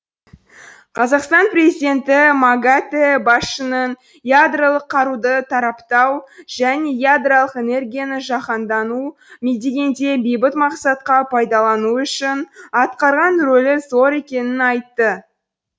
қазақстан президенті магатэ басшысының ядролық қаруды таратпау және ядролық энергияны жаһандану деңгейде бейбіт мақсатқа пайдалану үшін атқарған рөлі зор екенін айтты